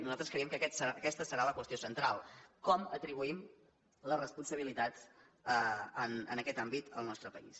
nosaltres creiem que aquesta serà la qüestió central com atribuïm les responsabilitats en aquest àmbit al nostre país